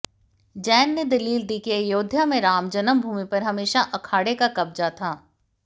जैन ने दलील दी कि अयोध्या में राम जन्मभूमि पर हमेशा अखाड़े का कब्जा था